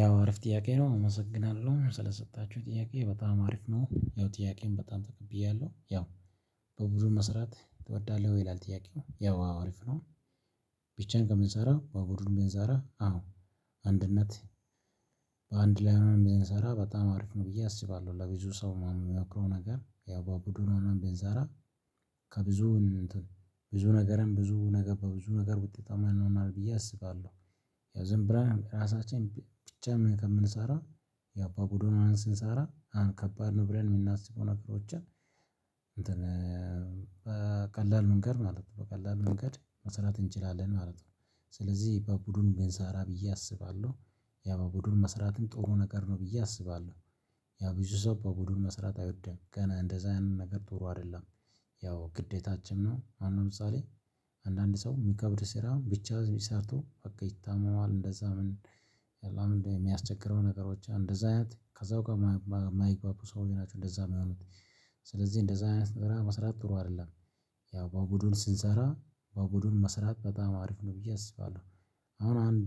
ያው አሪፍ ጥያቄ ነው አመሰግናለሁ ስለሰጣችሁኝ ጥያቄ በጣም አሪፍ ነው ያው ጥያቄውንም በጣም ተቀብያለሁ ያው በብድር መስራት ትወዳለህ ይላል ጥያቄው ያው አሪፍ ነው። ብቻዬን ከምንሰራ በቡዱን ብንሰራ አዎ አንድነት በአንድ ላይ ሆነን ብንሰራ በጣም አሪፍ ነው ብዬ አስባለሁ ለብዙ ሰው ማንም ምመክረው ነገር ያው በቡድኑ ሆነን ብንሰራ ከብዙ ብዙ ነገርም ብዙ ነገር በብዙ ነገር ውጤታማ እንሆናለን ብዬ አስባለሁ። ዝምብለን ራሳችን ብቻ ከምንሰራ ያው በቡድኑን ሆነን ስንሰራ በጣም በጣም ከባድ ነው ብለን የምናስበው ነገሮችን በቀላል መንገድ ማለት ነው። በቀላል መንገድ መሰራት እንችላለን ማለት ነው። ስለዚህ በቡድኑ ብንሰራ ብዬ አስባለሁ። ያ በቡድኑ መስራትም ጡሩ ነገር ነው ብዬ አስባለሁ። ያ ብዙ ሰው በቡድን መስራት አይወድም ገና እንደዛ አይነት ነገር ጡሩ አይደለም። ያው ግዴታችን ነው አሁን ለምሳሌ አንዳንድ ሰው የሚከብድ ስራ ብቻ ሰርቶ በቃ ይታመማል። እንደዛ ምን እሚያስቸግረው ነገሮች እንደዛ አይነት ከሰዉጋ እማይግባቡ ሰዎች ናቸው እንደዛ እሚሆኑት። ስለዚህ እንደዛ አይነት ስራ መስራት ጥሩ አይደለም። ያው በቡዱን ስንሰራ በቡድን መስራት በጣም አሪፍ ነው ብዬ አስባለሁ። አሁን አንድ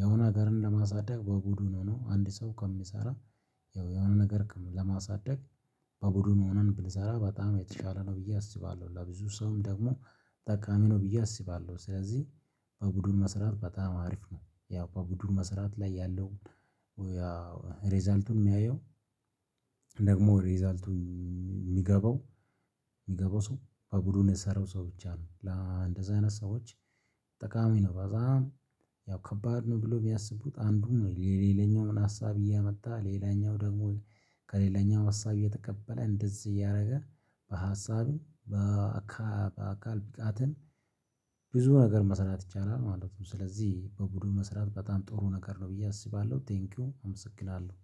የሆነ ነገርን ለማሳደግ በቡዱን ሆኖ አንድ ሰው ከሚሰራ ያው የሆነ ነገር ለማሳደግ በቡድኑ ሆነን ብንሰራ በጣም የተሻለ ነው ብዬ አስባለሁ። ለብዙ ሰውም ደግሞ ጠቃሚ ነው ብዬ አስባለሁ። ስለዚህ በቡድን መስራት በጣም አሪፍ ነው። ያው በቡድን መስራት ላይ ያለው ያው ሪዛልቱን የሚያየው ደግሞ ሬዛልቱን እሚገባው እሚገባው ሰው በቡድኑ የሰራው ሰው ብቻ ነው። ለእንደዛ አይነት ሰዎች ጠቃሚ ነው። በጣም ያው ከባድ ነው ብለው እሚያስቡት አንዱ የሌለኛውን ሀሳብ እያመጣ ሌላኛው ደግሞ ከሌለኛው ሀሳብ እየተቀበለ እንደዚህ እያደረገ በሀሳብም በአካል ብቃትም ብዙ ነገር መሰራት ይቻላል ማለት ነው። ስለዚህ በቡድን መስራት በጣም ጥሩ ነገር ነው ብዬ አስባለሁ። ቴንኪው አመሰግናለሁ